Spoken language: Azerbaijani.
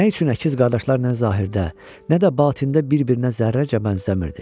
Nə üçün əkiz qardaşlar nə zahirdə, nə də batində bir-birinə zərrəcə bənzəmirdi?